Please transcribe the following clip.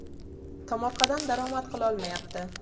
Tomorqadan daromad qilolmayapti.